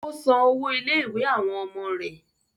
Ó san owó ilé-ìwé àwọn ọmọ rẹ̀.